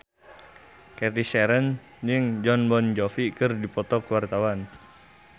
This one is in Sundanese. Cathy Sharon jeung Jon Bon Jovi keur dipoto ku wartawan